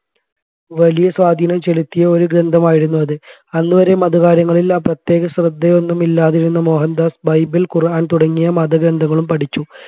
വലിയ സ്വാധീനം ചെലുത്തിയ ഒരു ഗ്രന്ഥമായിരുന്നു അത് അന്നുവരെ മതകാര്യങ്ങളിൽ പ്രത്യേക ശ്രദ്ധയൊന്നുമില്ലാതിരുന്ന മോഹൻദാസ് ബൈബിൾ ഖുർആൻ തുടങ്ങിയ മതഗ്രന്ഥങ്ങളും പഠിച്ചു